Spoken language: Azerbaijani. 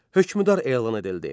Hökmdar elan edildi.